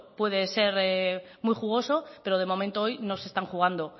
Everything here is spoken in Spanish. puede ser muy jugoso pero de momento hoy no se están jugando